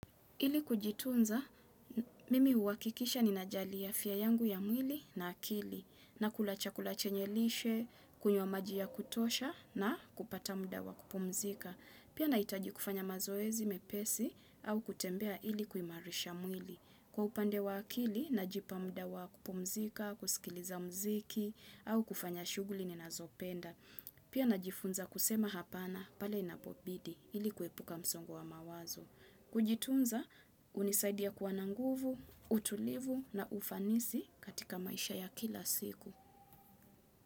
Ili kujitunza, mimi huhakikisha ninajali afya yangu ya mwili na akili, nakula chakula chenye lishe, kunywa maji ya kutosha na kupata muda wa kupumzika. Pia nahitaji kufanya mazoezi mepesi au kutembea ili kuimarisha mwili. Kwa upande wa akili, najipa muda wa kupumzika, kusikiliza mziki, au kufanya shughuli ninazopenda. Pia najifunza kusema hapana, pale inapobidi, ili kuepuka msongo wa mawazo. Kujitunza unisaidia kwa na nguvu, utulivu na ufanisi katika maisha ya kila siku.